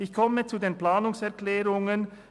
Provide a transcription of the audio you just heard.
Ich komme zu den Planungserklärungen.